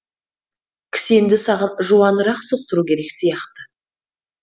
кісенді саған жуанырақ соқтыру керек сияқты